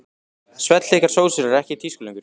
Svellþykkar sósur eru ekki í tísku lengur.